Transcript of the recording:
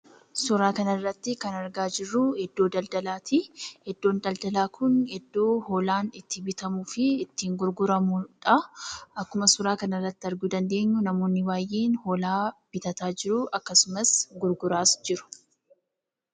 Suuraa kanarratti kan argaa jirru iddoo daldalaati. Iddoon daldalaa kun iddoo hoolaan itti bitamuu fi itti gurguramudha. Akkuma suuraa kanarratti arguu dandeenyu namoonni baay'een hoolaa bitaa jiru akkasumas gurguraas jiru.